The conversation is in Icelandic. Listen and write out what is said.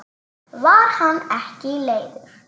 Var hann ekki leiður?